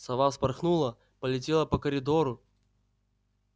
сова вспорхнула полетела по коридору